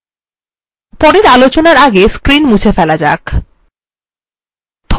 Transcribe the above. পরের আলোচনার আগে screen মুছে ফেলা যাক